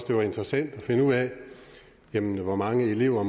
det var interessant at finde ud af hvor mange elever